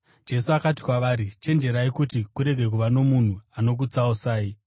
Jesu akati kwavari, “Chenjerai kuti kurege kuva nomunhu anokutsausai.